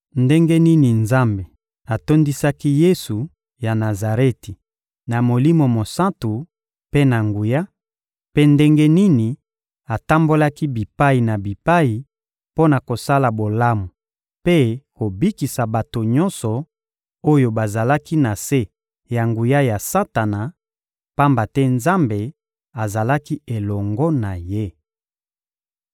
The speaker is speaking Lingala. ndenge nini Nzambe atondisaki Yesu ya Nazareti na Molimo Mosantu mpe na nguya, mpe ndenge nini atambolaki bipai na bipai mpo na kosala bolamu mpe kobikisa bato nyonso oyo bazalaki na se ya nguya ya Satana, pamba te Nzambe azalaki elongo na Ye.